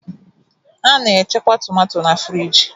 A na-echekwa tomato na-friji.